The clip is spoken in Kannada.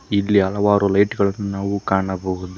ಇಲ್ಲಿ ಹಲವಾರು ಲೈಟ್ ಗಳನ್ನು ನಾವು ಕಾಣಬಹುದು.